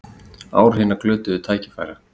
Ár hinna glötuðu tækifæra